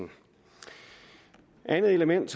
andet element